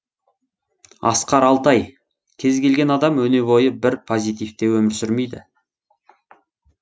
асқар алтай кез келген адам өне бойы бір позитивте өмір сүрмейді